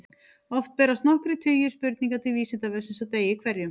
Oftast berast nokkrir tugir spurninga til Vísindavefsins á degi hverjum.